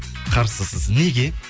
қарсысыз неге